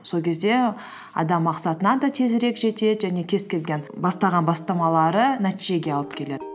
сол кезде адам мақсатына да тезірек жетеді және кез келген бастаған бастамалары нәтижеге алып келеді